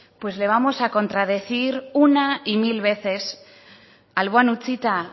pues le vamos a contradecir una y mil veces alboan utzita